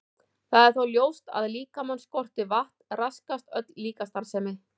Það er þó ljóst að ef líkamann skortir vatn raskast öll líkamsstarfsemi.